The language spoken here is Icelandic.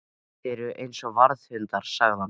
Þeir eru eins og varðhundar sagði hann.